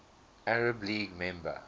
arab league member